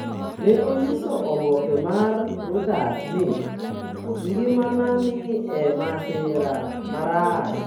Ne onyiso oboke mar Reuters ni: “Ngimana ni e masira marach.”